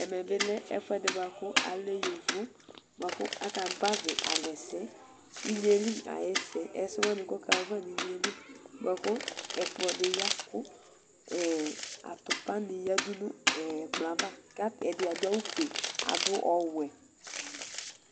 Ɛmebi lɛ ɛfʋɛdi bʋakʋ bʋakʋ alɛ yovo bʋakʋ aka gbavi alɛ inyeli ayʋ ɛsɛ Ɛsɛ wani kʋ ɔkaxa ayava nʋ inyeli bʋakʋ ɛkplɔdi ya kʋ atʋpa ni yadʋ nʋ ɛkplɔɛ ava kʋ ɛdi adʋ awʋfʋe adʋ ɔwɛ